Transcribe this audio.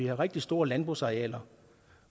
er rigtig store landbrugsarealer